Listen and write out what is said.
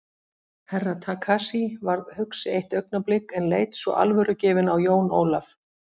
Herra Takashi varð hugsi eitt augnablik en leit svo alvörugefinn á Jón Ólaf.